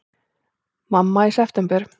Mamma í september!